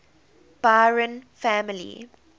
byron family